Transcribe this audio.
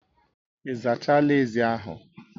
Ị zachala ezi ahụ